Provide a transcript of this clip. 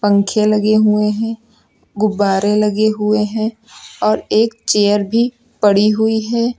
पंख लगे हुए हैं गुब्बारे लगे हुए हैं और एक चेयर भी पड़ी हुई है।